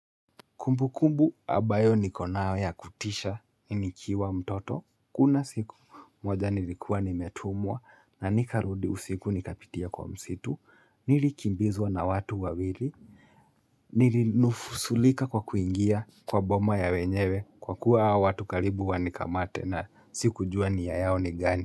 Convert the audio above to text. Kumbu kumbu abayo nikonao ya kutisha nikiwa mtoto, kuna siku moja nilikuwa nimetumwa na nikarudi usiku nikapitia kwa msitu, nilikimbizwa na watu wawiri, nilinusurika kwa kuingia kwa boma ya wenyewe kwa kuwa watu karibu wa nikamate na siku juwa ni ya yao ni gani.